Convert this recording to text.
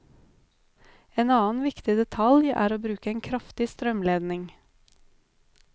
En annen viktig detalj er å bruke en kraftig strømledning.